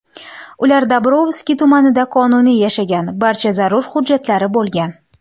Ular Dobrovskiy tumanida qonuniy yashagan, barcha zarur hujjatlari bo‘lgan.